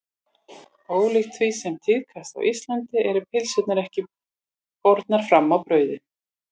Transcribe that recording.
Ólíkt því sem tíðkast á Íslandi eru pylsurnar ekki bornar fram í brauði.